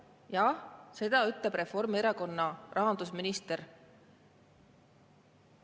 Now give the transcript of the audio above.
Jah, seda ütleb Reformierakonna rahandusminister.